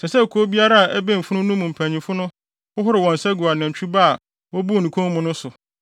Ɛsɛ sɛ kurow a ɛbɛn funu no mu mpanyimfo no hohoro wɔn nsa gu nantwi ba a wobuu ne kɔn mu no so,